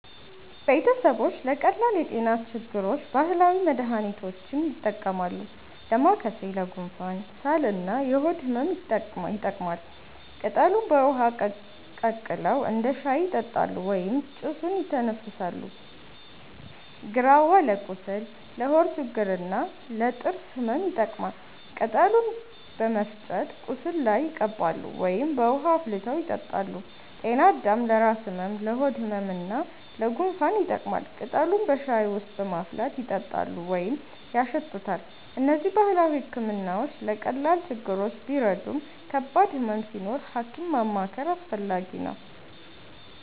ቤተሰቦች ለቀላል የጤና ችግሮች ባህላዊ መድሃኒቶችን ይጠቀማሉ። ዳማከሴ ለጉንፋን፣ ሳል እና የሆድ ህመም ይጠቅማል። ቅጠሉን በውሃ ቀቅለው እንደ ሻይ ይጠጣሉ ወይም ጭሱን ይተነፍሳሉ። ግራዋ ለቁስል፣ ለሆድ ችግር እና ለጥርስ ህመም ይጠቀማል። ቅጠሉን በመፍጨት ቁስል ላይ ይቀባሉ ወይም በውሃ አፍልተው ይጠጣሉ። ጤናአዳም ለራስ ህመም፣ ለሆድ ህመም እና ለጉንፋን ይጠቅማል። ቅጠሉን በሻይ ውስጥ በማፍላት ይጠጣሉ ወይም ያሸቱታል። እነዚህ ባህላዊ ሕክምናዎች ለቀላል ችግሮች ቢረዱም ከባድ ህመም ሲኖር ሐኪም ማማከር አስፈላጊ ነው።